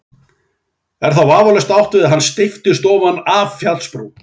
Er þá vafalaust átt við að hann steypist ofan af fjallsbrún.